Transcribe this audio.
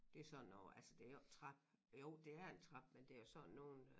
Det sådan over altså det jo ikke en trap jo det er en trappe men det sådan nogen øh